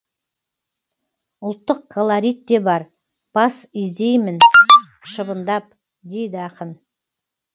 ұлттық колорит те бар бас изеймін шыбындап дейді ақын